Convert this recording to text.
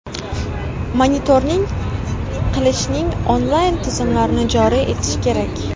Monitoring qilishning onlayn tizimlarini joriy etish kerak.